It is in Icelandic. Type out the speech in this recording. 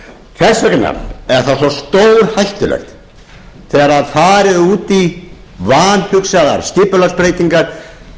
vegna er svo stórhættulegt þegar farið er út í vanhugsaðar skipulagsbreytingar